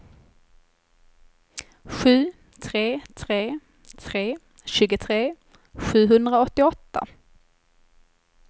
sju tre tre tre tjugotre sjuhundraåttioåtta